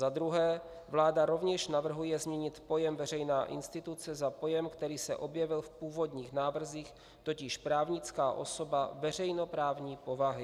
Za druhé, vláda rovněž navrhuje změnit pojem veřejná instituce za pojem, který se objevil v původních návrzích, totiž právnická osoba veřejnoprávní povahy.